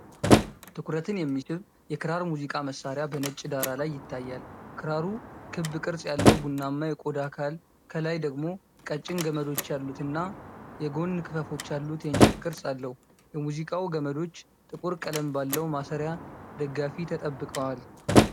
ትኩረትን የሚስብ የክራር ሙዚቃ መሳሪያ በነጭ ዳራ ላይ ይታያል። ክራሩ ክብ ቅርጽ ያለው ቡናማ የቆዳ አካል፣ ከላይ ደግሞ ቀጭን ገመዶች ያሉትና የጎን ክፈፎች ያሉት የእንጨት ቅርጽ አለው። የሙዚቃው ገመዶች ጥቁር ቀለም ባለው ማሰሪያ ደጋፊ ተጠብቀዋል።